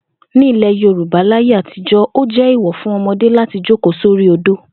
Ní ilè̩ Yorùbá láyé àtijó̩, ó jé̩ èèwò̩ fún o̩mo̩dé láti jókòó sórí odó